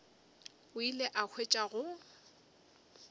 o ile a hwetša go